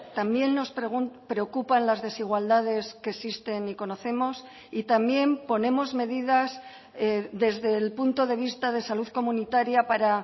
también nos preocupan las desigualdades que existen y conocemos y también ponemos medidas desde el punto de vista de salud comunitaria para